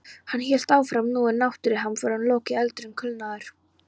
Hann hélt áfram: Nú er náttúruhamförunum lokið og eldurinn kulnaður.